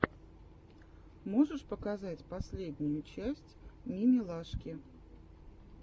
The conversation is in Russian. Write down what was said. можешь показать последнюю часть мимилашки